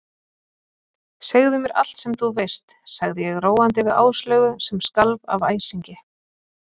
Segðu mér allt sem þú veist sagði ég róandi við Áslaugu sem skalf af æsingi.